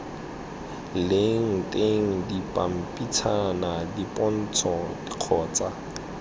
leng teng dipampitshana dipontsho kgotsa